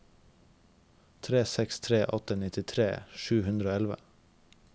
tre seks tre åtte nittitre sju hundre og elleve